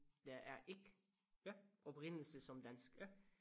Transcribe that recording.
Der er ikke oprindelse som dansk